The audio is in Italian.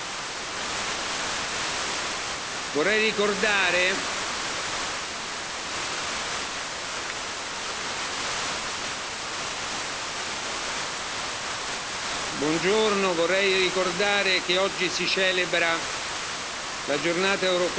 Vorrei ricordare che oggi si celebra la Giornata europea e mondiale contro la pena di morte.